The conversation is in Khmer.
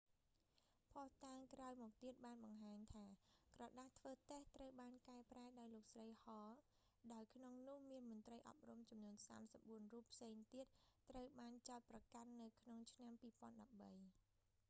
ភស្តុតាងក្រោយមកទៀតបានបង្ហាញថា ក្រដាសធ្វើតេស្ត ត្រូវបានកែប្រែដោយលោកស្រី ហល hall ដោយក្នុងនោះមានមន្រ្តីអប់រំចំនួន 34 រូបផ្សេងទៀតត្រូវបានចោទប្រកាន់នៅក្នុងឆ្នាំ2013